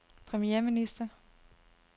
premierminister